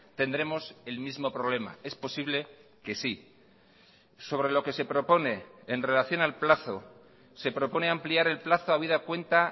tendremos el mismo problema es posible que sí sobre lo que se propone en relación al plazo se propone ampliar el plazo habida cuenta